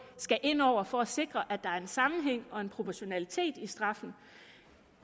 skal ind over for at sikre at der er sammenhæng og proportionalitet i straffene